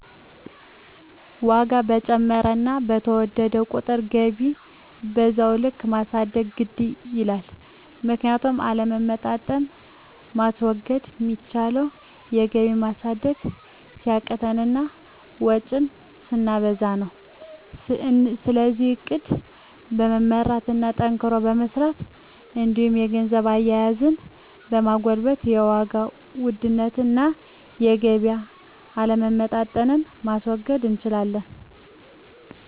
ዋጋ በጨመረና በተወደደ ቁጥር ገቢን በዛው ልክ ማሳደግ ግድ ይላል። ምክንያቱም አለመመጣጠን ማስወገድ ሚቻለው ገቢን ማሳደግ ሲያቅተን እና ወጭን ስናበዛ ነው። ስለዚህ እቅድ በመመራት እና ጠንክሮ በመስራት እንዲሁም የገንዘብ አያያዛችንን በማጎልበት የዋጋ ውድነትን እና የገቢ አለመመጣጠንን ማስወገድ እንችላለን።